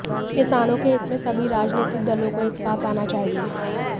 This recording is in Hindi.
किसानों के हित में सभी राजनीतिक दलों को एक साथ आना चाहिए